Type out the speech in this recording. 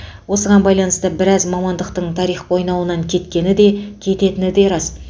осыған байланысты біраз мамандықтың тарих қойнауына кеткені де кететіні де рас